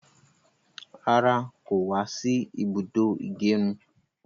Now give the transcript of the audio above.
Rárá, kò wá sí ibùdó ìgẹrun.